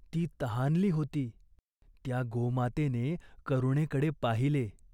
ती तहानली होती. त्या गोमातेने करुणेकडे पाहिले.